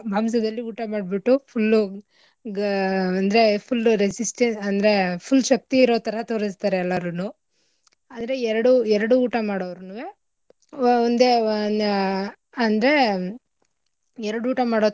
ಮಾಂಸದಲ್ಲಿ ಊಟ ಮಾಡ್ಬಿಟ್ಟು full ಉ ಗಾ ಅಂದ್ರೆ full resist ಅಂದ್ರೆ full ಶಕ್ತಿ ಇರೋಥರಾ ತೋರಸ್ತಾರೆ ಎಲ್ಲಾರುನೂ ಆದ್ರೆ ಎರಡೂ ಎರಡೂ ಊಟ ಮಾಡೋರ್ನೂವೆ ಒಂದೇ ಆಹ್ ಅಂದ್ರೆ ಎರಡು ಊಟ ಮಾಡೋಥರ.